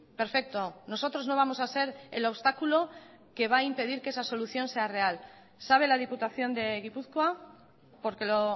perfecto nosotros no vamos a ser el obstáculo que va a impedir que esa solución sea real sabe la diputación de gipuzkoa porque lo